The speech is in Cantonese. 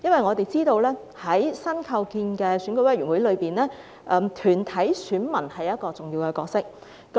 我們知道在新構建的選委會裏，團體選民擔當一個重要的角色。